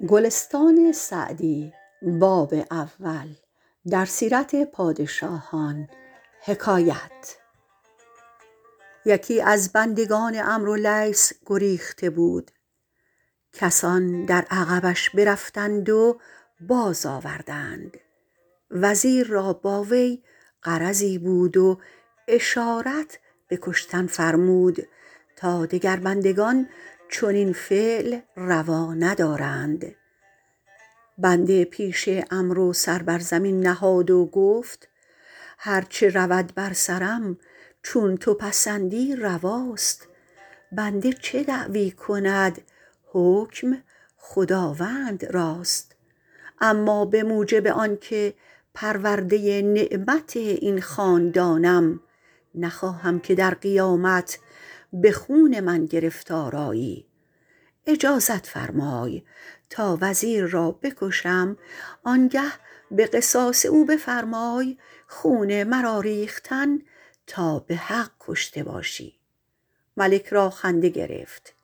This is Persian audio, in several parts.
یکی از بندگان عمرو لیث گریخته بود کسان در عقبش برفتند و باز آوردند وزیر را با وی غرضی بود و اشارت به کشتن فرمود تا دگر بندگان چنین فعل روا ندارند بنده پیش عمرو سر بر زمین نهاد و گفت هر چه رود بر سرم چون تو پسندی رواست بنده چه دعوی کند حکم خداوند راست اما به موجب آن که پرورده نعمت این خاندانم نخواهم که در قیامت به خون من گرفتار آیی اجازت فرمای تا وزیر را بکشم آن گه به قصاص او بفرمای خون مرا ریختن تا به حق کشته باشی ملک را خنده گرفت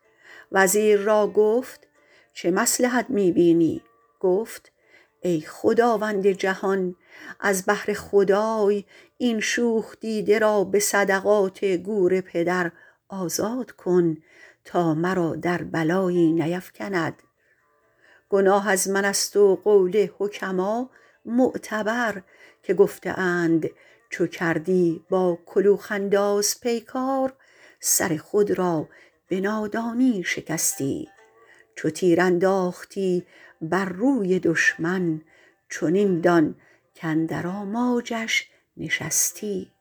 وزیر را گفت چه مصلحت می بینی گفت ای خداوند جهان از بهر خدای این شوخ دیده را به صدقات گور پدر آزاد کن تا مرا در بلایی نیفکند گناه از من است و قول حکما معتبر که گفته اند چو کردی با کلوخ انداز پیکار سر خود را به نادانی شکستی چو تیر انداختی بر روی دشمن چنین دان کاندر آماجش نشستی